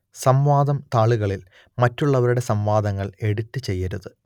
സംവാദം താളുകളിൽ മറ്റുള്ളവരുടെ സംവാദങ്ങൾ എഡിറ്റ് ചെയ്യരുത്